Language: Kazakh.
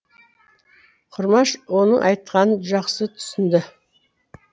құрмаш оның айтқанын жақсы түсінді